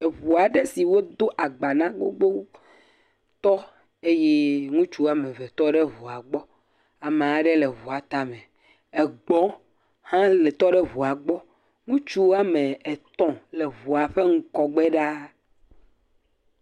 Eŋua aɖe si wodo agba na gbogbo tɔ eye ŋutsu wɔme eve tɔ ɖe eŋua gbɔ. Ame aɖe hã le eŋua tame. Egbɔ aɖe hã tɔ ɖe ŋua gbɔ. Ŋutsu wɔme etɔ̃ le eŋua ƒe ŋgɔgbe ɖaa.